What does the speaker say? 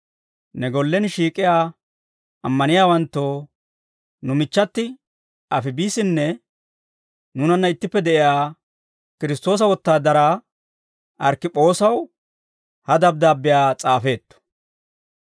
ne gollen shiik'iyaa ammaniyaawanttoo, nu michchati Afibissinne nuunanna ittippe de'iyaa Kiristtoosa wotaadaraa Arkkipoosaw ha dabddaabbiyaa s'aafeetto.